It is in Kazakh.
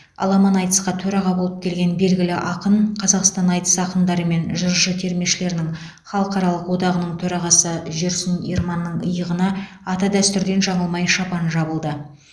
аламан айтысқа төраға болып келген белгілі ақын қазақстан айтыс ақындары мен жыршы термешілерінің халықаралық одағаның төрағасы жүрсін ерманның иығына ата дәстүрден жаңылмай шапан жабылды